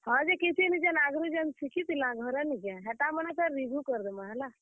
ହଁ, ଯେ କିଛି ନିଁ, ଯେନ୍ ଆଘରୁ ଯେନ୍ ଶିଖିଥିଲାଁ ଘରେ ନିଁ କାଏଁ ସେଟା ମାନଙ୍କୁ ଫେରି review କରିଦେମା ହେଲା।